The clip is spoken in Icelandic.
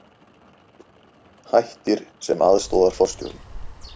Hættir sem aðstoðarforstjóri